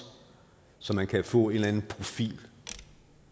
så man kan få en eller anden profil